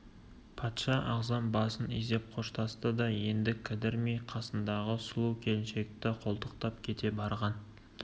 патша ағзам басын изеп қоштасты да енді кідірмей қасындағы сұлу келіншекті қолтықтап кете барған